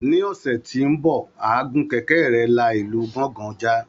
Ní ọ̀sẹ̀ tó ń bọ̀, á gun kẹ̀kẹ́ rẹ̀ la ìlú gangan já